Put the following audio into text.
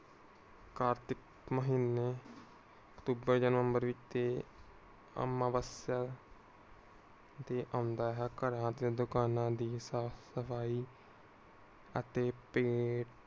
ਕਾਰਤਿਕ ਮਹੀਨੇ ਅਕਤੂਬਰ ਯਾ ਨਵੰਵਰ ਵਿਚ ਇਹ ਅਮਵਾਸਯਾ ਤੇ ਆਉਂਦਾ ਹੈ. ਘਰਾਂ ਤੇ ਦੁਕਾਨਾਂ ਦੀ ਸਾਫ ਸਫਾਈ ਅਤੇ ਤੇ